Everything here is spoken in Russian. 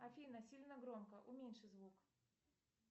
афина сильно громко уменьши звук